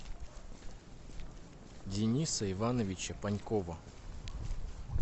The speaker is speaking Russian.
дениса ивановича панькова